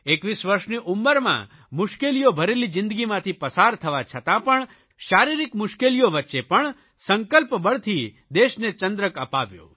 21 વરસની ઉંમરમાં મુશ્કેલીઓ ભરેલી જીંદગીમાંથી પસાર થવા છતાં પણ શારીરિક મુશ્કેલીઓ વચ્ચે પણ સંકલ્પબળથી દેશને ચંદ્રક અપાવ્યો